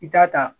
I t'a ta